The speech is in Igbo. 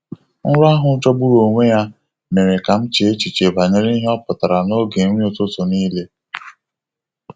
Nrọ ahụ jọgburu onwe ya mere ka m chee echiche banyere ihe ọpụtara n'oge nri ụtụtụ niile.